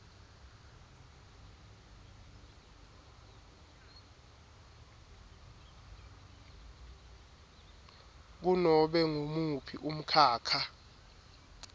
kunobe ngumuphi umkhakha